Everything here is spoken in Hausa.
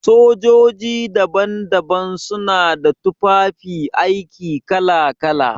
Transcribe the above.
Sojoji daban-daban su na da tufafi aiki kala-kala.